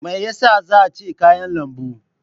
Me yasa zan ci kayan lambu?